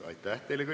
Ilusat neljapäeva!